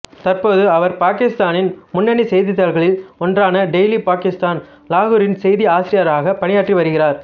தற்போது அவர் பாகிஸ்தானின் முன்னணி செய்தித்தாள்களில் ஒன்றான டெய்லி பாகிஸ்தான் லாகூரின் செய்தி ஆசிரியராக பணியாற்றி வருகிறார்